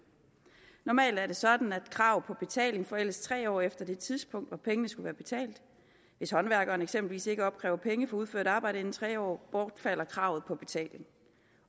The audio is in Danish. normalt er det sådan at krav på betaling forældes tre år efter det tidspunkt hvor pengene skulle være betalt hvis håndværkeren eksempelvis ikke opkræver penge for udført arbejde inden for tre år bortfalder kravet på betaling